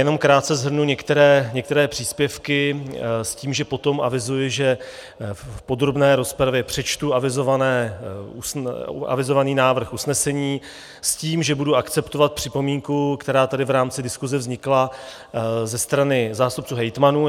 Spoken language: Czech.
Jenom krátce shrnu některé příspěvky s tím, že potom avizuji, že v podrobné rozpravě přečtu avizovaný návrh usnesení s tím, že budu akceptovat připomínku, která tady v rámci diskuse vznikla ze strany zástupců hejtmanů.